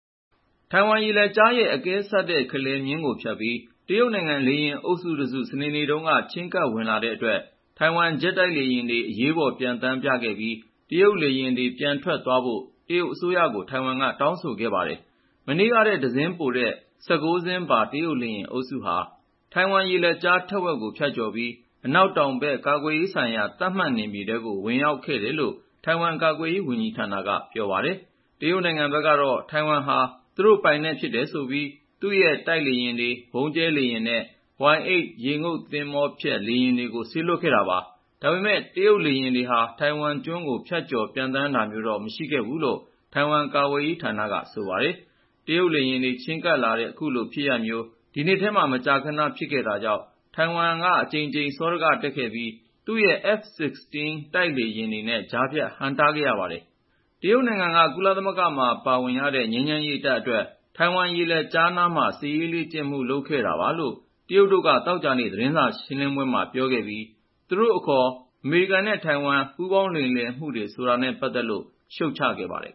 ထိုင်ဝမ်ရေလက်ကြားရဲ့ အကဲဆတ်တဲ့ အလယ်မျည်းကို ဖြတ်ပြီး တရုတ်နိုင်ငံ လေယာဉ်အုပ်စုတစု စနေနေ့တုန်းက ချဉ်းကပ်ဝင်လာတဲ့အတွက် ထိုင်ဝမ် ဂျက်တိုက်လေယာဉ်တွေ အရေးပေါ်ပျံသန်းပြခဲ့ပြီး တရုတ်လေယာဉ်တွေ ပြန်ထွက်သွားဖို့ တရုတ်အစိုးရကို ထိုင်ဝမ်က တောင်းဆိုခဲ့ပါတယ်။ မနေ့ကထက် တစင်းပိုတဲ့ ၁၉ စင်းပါ တရုတ်လေယာဉ်အုပ်စုဟာ ထိုင်ဝမ်ရေလက်ကြား ထက်ဝက်ကို ဖြတ်ကျော်ပြီး အနောက်တောင်ဘက်က ကာကွယ်ရေးဆိုင်ရာ သတ်မှတ်နယ်မြေထဲကို ဝင်ရောက်ခဲ့တယ်လို့ ထိုင်ဝမ်ကာကွယ်ရေး ဝန်ကြီးဌာနက ပြောပါတယ်။ တရုတ်နိုင်ငံဘက်ကတော့ ထိုင်ဝမ်ဟာ သူတို့ပိုင်နက်ဖြစ်တယ်ဆိုပြီး သူ့ရဲ့ တိုက်လေယာဉ်တွေ၊ ဗုံးကြဲလေယာဉ်နဲ့ Y-8 ရေငုပ်သင်္ဘောဖျက် လေယာဉ်တွေကို စေလွှတ်ခဲ့တာပါ။ ဒါပေမယ့် တရုတ်လေယာဉ်တွေဟာ ထိုင်ဝမ်ကျွန်းကို ဖြတ်ကျော် ပျံသန်းသွားတာမျိုးတော့ မရှိခဲ့ဘူးလို့ ထိုင်ဝမ် ကာကွယ်ရေးဌာနက ဆိုပါတယ်။ တရုတ်လေယာဉ်တွေ ချဉ်းကပ်လာတဲ့ အခုလိုဖြစ်ရပ်မျိုး ဒီနှစ်ထဲမှာ မကြာခဏ ဖြစ်ခဲ့တာကြောင့် ထိုင်ဝမ်က အကြိမ်ကြိမ် စောဒကတက်ခဲ့ပြီး သူ့ရဲ့ F-16 တိုက်လေယာဉ်တွေနဲ့ ကြားဖြတ် ဟန့်တားခဲ့ရပါတယ်။ တရုတ်နိုင်ငံက ကုလသမဂ္ဂမှာ ပါဝင်ရတဲ့ ငြိမ်းချမ်းရေးတပ်အတွက် ထိုင်ဝမ်ရေလက်ကြားနားမှာ စစ်ရေးလေ့ကျင့်မှု လုပ်ခဲ့တာပါလို့ တရုတ်တို့က သောကြာနေ့ သတင်းစာရှင်းလင်းပွဲမှာ ပြောခဲ့ပြီး သူတို့အခေါ် အမေရိကန်နဲ့ ထိုင်ဝမ် ပူးပေါင်းလိမ်လည်မှုတွေ ဆိုတာနဲ့ပတ်သက်လို့ ရှုတ်ချခဲ့ပါတယ်